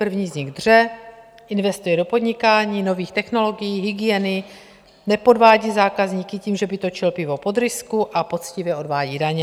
První z nich dře, investuje do podnikání, nových technologií, hygieny, nepodvádí zákazníky tím, že by točil pivo pod rysku, a poctivě odvádí daně.